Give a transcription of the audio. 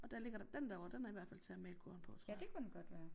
Og der ligger der den der ovre den er i hvert fald til at male korn på tror jeg